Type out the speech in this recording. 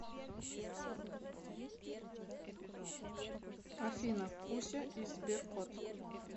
афина куся и сберкот